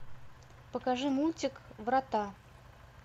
покажи мультик врата